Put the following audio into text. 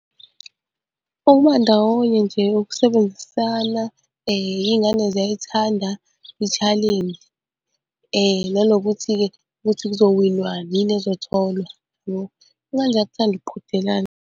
Ukuba ndawonye nje ukusebenzisana, iy'ngane ziyayithanda ishalenji. Nanokuthi-ke ukuthi kuzowinwa ini, yini ezotholwa ngoba iy'ngane ziyakuthanda ukuqhudelana.